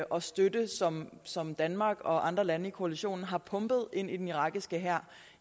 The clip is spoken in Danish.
og støtte som som danmark og andre lande i koalitionen har pumpet ind i den irakiske hær